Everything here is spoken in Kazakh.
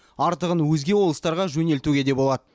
артығын өзге облыстарға жөнелтуге де болады